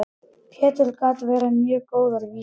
Pétur gat gert mjög góðar vísur.